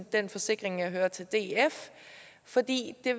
den forsikring jeg hørte til df fordi det